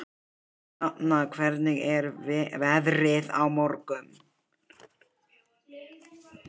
Hrafna, hvernig er veðrið á morgun?